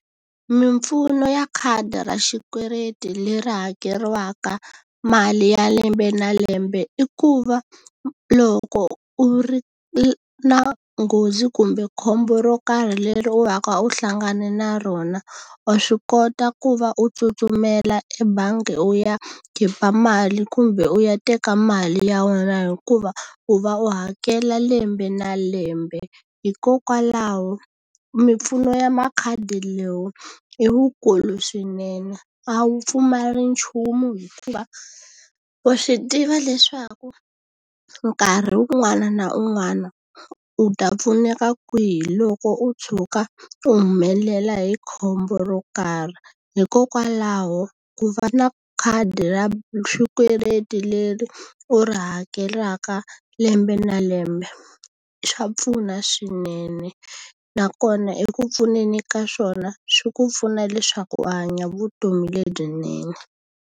Mimpfuno ya khadi ra xikweleti leri hakeriwaka mali ya lembe na lembe i ku va, loko u ri na nghozi kumbe khombo ro karhi leri u va ka u hlangane na rona wa swi kota ku va u tsutsumela ebangi u ya khipa mali kumbe u ya teka mali ya wena, hikuva u va u hakela lembe na lembe. Hikokwalaho mimpfuno ya makhadi lowu i wukulu swinene, a wu pfumali nchumu hikuva wa swi tiva leswaku nkarhi un'wana na un'wana u ta pfuneka kwihi loko u tshuka u humelela hi khombo ro karhi. Hikokwalaho ku va na khadi u ra xikweleti leri u ri hakelaka lembe na lembe swa pfuna swinene, nakona eku pfuneni ka swona swi ku pfuna leswaku u hanya vutomi lebyinene.